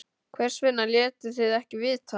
Hvers vegna létuð þið ekki vita?